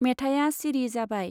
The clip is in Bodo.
मेथाया सिरि जाबाय।